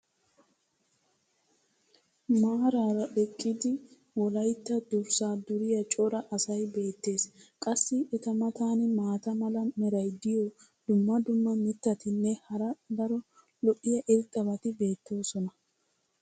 Maaraara eqqidi wolaytta durssaa duriya cora asay beetees. qassi eta matan maata mala meray diyo dumma dumma mittatinne hara daro lo'iya irxxabati beettoosona.